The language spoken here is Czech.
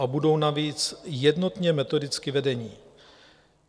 a budou navíc jednotně metodicky vedeni.